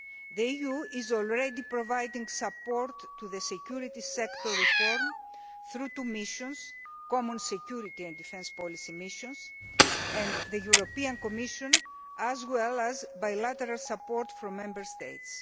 The EU is already providing support to the security sector reform through common security and defence policy missions and the European Commission, as well as bilateral support from Member States.